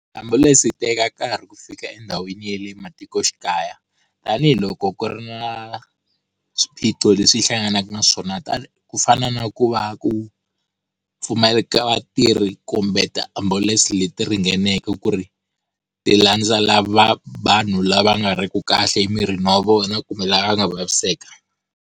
Tiambulense ti teka nkarhi ku fika endhawini ya le matikoxikaya, tanihiloko ku ri na swiphiqo leswi yi hlanganaka na swona ku fana na ku va ku pfumaleka vatirhi kumbe tiambulense leti ringaneke ku ri ti landza lava vanhu lava nga ri ku kahle emirini wa vona kumbe lava va nga vaviseka.